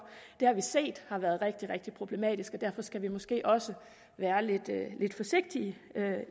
det har vi set har været rigtig rigtig problematisk og derfor skal vi måske også være lidt forsigtige